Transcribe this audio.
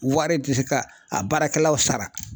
Wari tɛ se ka a baarakɛlaw sara